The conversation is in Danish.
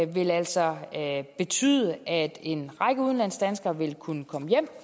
vil altså betyde at en række udenlandsdanskere vil kunne komme hjem